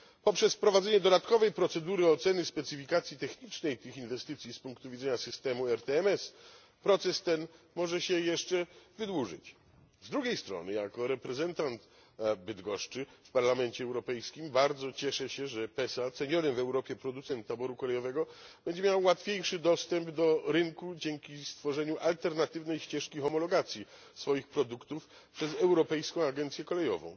Poprzez wprowadzenie dodatkowej procedury oceny specyfikacji technicznej tych inwestycji, z punktu widzenia systemu ERTMS, proces ten może się jeszcze wydłużyć. Z drugiej strony, jako reprezentant Bydgoszczy w Parlamencie Europejskim bardzo cieszę się, że PESA, ceniony w Europie producent taboru kolejowego, będzie miał łatwiejszy dostęp do rynku dzięki stworzeniu alternatywnej ścieżki homologacji swoich produktów przez Europejską Agencję Kolejową.